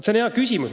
See on hea küsimus.